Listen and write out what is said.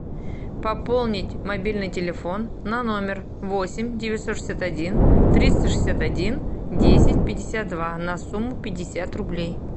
пополнить мобильный телефон на номер восемь девятьсот шестьдесят один триста шестьдесят один десять пятьдесят два на сумму пятьдесят рублей